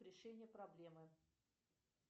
решение проблемы